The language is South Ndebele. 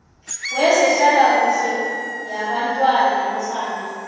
wezehlalakuhle yabantwana nofana